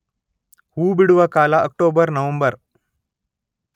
ಹೂಬಿಡುವ ಕಾಲ October, November.